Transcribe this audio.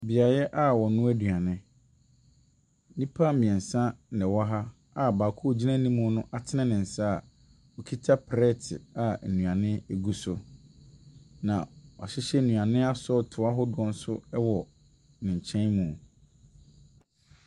Beaeɛ a wɔnoa aduane, nnipa mmiɛnsa na wɔ ha a baako a ɔwɔ anim no kuta plɛɛte a nnuane wɔ mu. Na wɔahyehyɛ nnuane asɔɔto ahɔdoɔ nso wɔ ne nkyɛn mu.